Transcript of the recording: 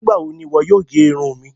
Nígbawo ni iwọ yóò gé irun mi?